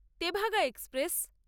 Tebhaga express